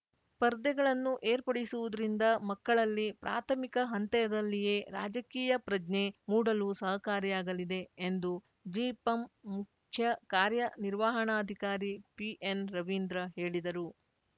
ಸ್ಪರ್ಧೆಗಳನ್ನು ಏರ್ಪಡಿಸುವುದರಿಂದ ಮಕ್ಕಳಲ್ಲಿ ಪ್ರಾಥಮಿಕ ಹಂತದಲ್ಲಿಯೇ ರಾಜಕೀಯ ಪ್ರಜ್ಞೆ ಮೂಡಲು ಸಹಕಾರಿಯಾಗಲಿದೆ ಎಂದು ಜಿಪಂ ಮುಖ್ಯ ಕಾರ್ಯನಿರ್ವಹಣಾಧಿಕಾರಿ ಪಿಎನ್‌ ರವೀಂದ್ರ ಹೇಳಿದರು